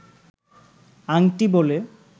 আংটি বলে